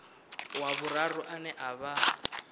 wa vhuraru ane a vha